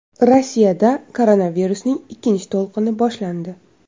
Rossiyada koronavirusning ikkinchi to‘lqini boshlandi.